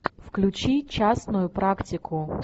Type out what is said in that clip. включи частную практику